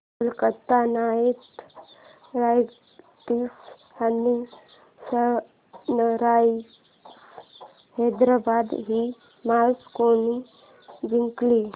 Kolkata Knight Riders आणि Sunrisers Hyderabad ही match कोणी जिंकली